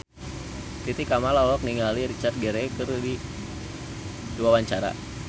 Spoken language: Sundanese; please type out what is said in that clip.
Titi Kamal olohok ningali Richard Gere keur diwawancara